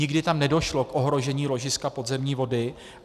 Nikdy tam nedošlo k ohrožení ložiska podzemní vody.